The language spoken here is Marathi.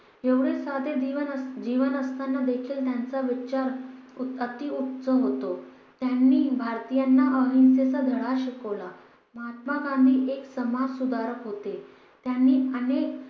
एवढे साधे जीवन जीवन असताना देखील त्यांचा विचार खूप अती उत्सव होतो त्यांनी भारतीयांना अहिंसेचा धडा शिकवला महात्मा गांधी एक समाज सुधारक होते त्यांनी अनेक